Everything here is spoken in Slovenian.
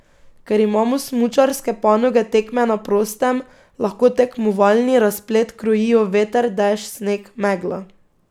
Ker imamo smučarske panoge tekme na prostem, lahko tekmovalni razplet krojijo veter, dež, sneg, megla.